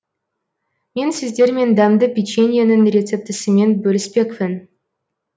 мен сіздермен дәмді печеньенің рецептісімен бөліспекпін